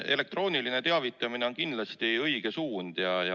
Elektrooniline teavitamine on kindlasti õige suund.